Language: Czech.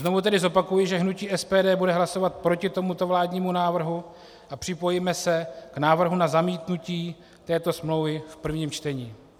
Znovu tedy zopakuji, že hnutí SPD bude hlasovat proti tomuto vládnímu návrhu a připojíme se k návrhu na zamítnutí této smlouvy v prvním čtení.